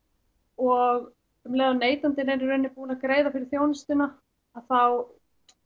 og um leið og neytandinn er í raun búinn að greiða fyrir þjónustuna þá